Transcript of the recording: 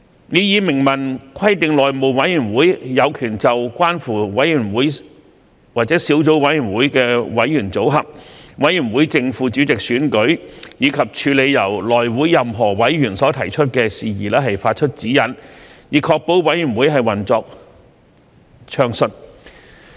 擬議修訂明文規定內會有權就關乎委員會或小組委員會的委員組合、委員會正副主席選舉，以及處理由內會任何委員所提出的事宜，發出指引，以確保委員會運作暢順。